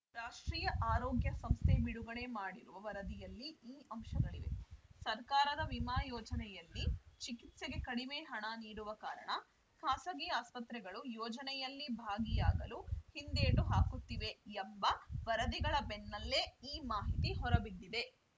ರಾಷ್ಟ್ರೀಯ ಆರೋಗ್ಯ ಸಂಸ್ಥೆ ಬಿಡುಗಡೆ ಮಾಡಿರುವ ವರದಿಯಲ್ಲಿ ಈ ಅಂಶಗಳಿವೆ ಸರ್ಕಾರದ ವಿಮಾ ಯೋಜನೆಯಲ್ಲಿ ಚಿಕಿತ್ಸೆಗೆ ಕಡಿಮೆ ಹಣ ನೀಡುವ ಕಾರಣ ಖಾಸಗಿ ಆಸ್ಪತ್ರೆಗಳು ಯೋಜನೆಯಲ್ಲಿ ಭಾಗಿಯಾಗಲು ಹಿಂದೇಟು ಹಾಕುತ್ತಿವೆ ಎಂಬ ವರದಿಗಳ ಬೆನ್ನಲ್ಲೇ ಈ ಮಾಹಿತಿ ಹೊರಬಿದ್ದಿದೆ